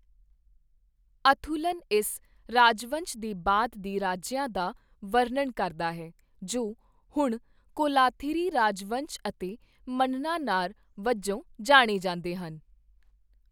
ਅਥੂਲਨ ਇਸ ਰਾਜਵੰਸ਼ ਦੇ ਬਾਅਦ ਦੇ ਰਾਜਿਆਂ ਦਾ ਵਰਣਨ ਕਰਦਾ ਹੈ, ਜੋ ਹੁਣ ਕੋਲਾਥਿਰੀ ਰਾਜਵੰਸ਼ ਅਤੇ ਮੰਨਨਾ-ਨਾਰ ਵਜੋਂ ਜਾਣੇ ਜਾਂਦੇ ਹਨ।